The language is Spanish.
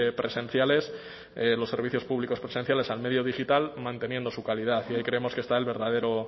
presenciales los servicios públicos presenciales al medio digital manteniendo su calidad y ahí creemos que está el verdadero